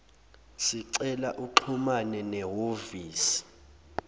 sicela uxhumane nehhovisi